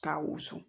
K'a wusu